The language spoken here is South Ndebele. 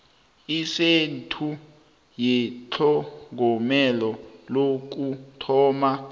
isentha yetlhogomelo lokuthoma